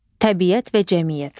Təbiət və cəmiyyət.